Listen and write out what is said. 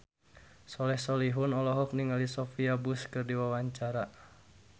Soleh Solihun olohok ningali Sophia Bush keur diwawancara